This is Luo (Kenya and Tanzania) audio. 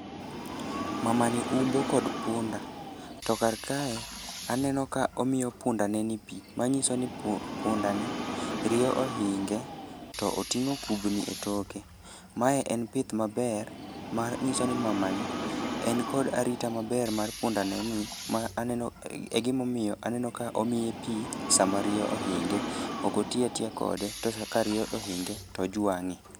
Mama ni umbo kod punda, to kar kae aneno ka omiyo punda ne ni pi. Manyiso ni pu punda ni, riyo ohinge to oting'o kubni e toke. Mae en pith maber, mar ng'iso ni mamani en kod arita maber mar punda ne ni. Ma aneno e gimo miyo aneno ka omiye pi sama riyo ohinge, okotiya tiya kode to sa ka riyo ohinge tojwang'e.